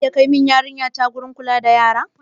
Zaka iya kai mun yarinya ta gidan kula da yara?